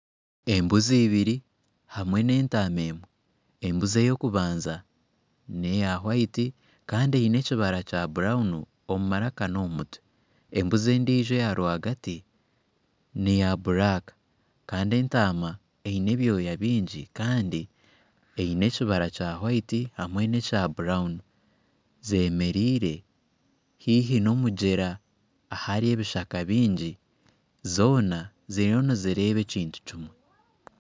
Embuzi ibiri hamwe n'entama emwe embuzi eyokubanza neya wayiti Kandi eyine ekibara kya burawunu omu maraka nomu mutwe embuzi endiijo eyarwagati neya buraka Kandi entaama eyine ebyoma bingi Kandi eyine ekibara kya wayiti hamwe nekya burawunu zemerire haihi nomugyera ahari ebishaka bingi zoona ziriyo nizireeba ekintu kimwe